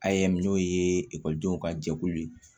A ye n'o ye ekɔlidenw ka jɛkulu ye